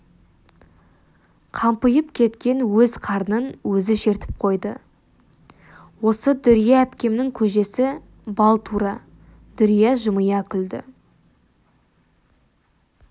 қампиып кеткен өз қарнын өзі шертіп қойды осы дүрия әпкемнің көжесі бал тура дүрия жымия күлді